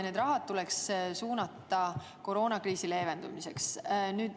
Need summad tuleks suunata koroonakriisi leevendamisse.